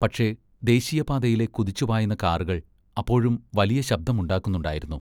പക്ഷെ ദേശീയപാതയിലെ കുതിച്ചുപായുന്ന കാറുകൾ അപ്പോഴും വലിയ ശബ്ദമുണ്ടാക്കുന്നുണ്ടായിരുന്നു.